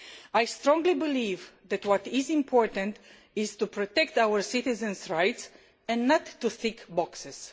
I strongly believe that what is important is to protect our citizens' rights and not just to tick boxes.